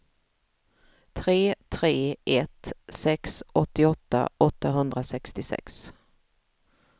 tre tre ett sex åttioåtta åttahundrasextiosex